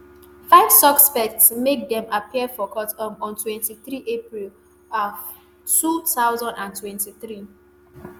five suspects make dem appear for court um on twenty-three april um two thousand and twenty-three